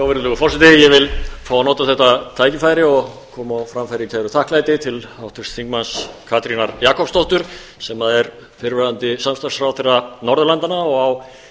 virðulegur forseti ég vil fá að nota þetta tækifæri og koma á framfæri kæru þakklæti til háttvirts þingmanns katrínar jakobsdóttur sem er fyrrverandi samstarfsráðherra norðurlandanna og á